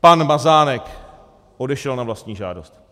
Pan Mazánek odešel na vlastní žádost.